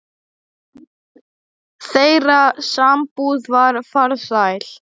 Þeirra sambúð var farsæl.